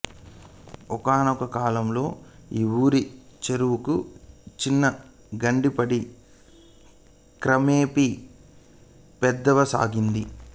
ఒకానొక కాలంలో ఈ ఊరి చెరువుకు చిన్న గండి పడి క్రమేపీ పెద్దదవసాగింది